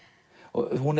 hún